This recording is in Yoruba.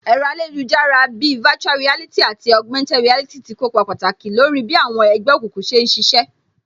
Ẹ̀rọ ayélujára bíi virtual reality àti Augumented reality tí kópa pàtàkì lórí bí àwọn ẹgbẹ́ òkùnkùn ṣe ń ṣiṣẹ́